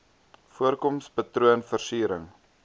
voorkoms patroon versiering